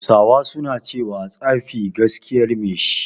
Hausawa suna cewa "Tsafi gaskiyar mai shi"